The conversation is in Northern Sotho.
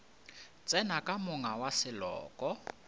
tsena ka monga wa seloko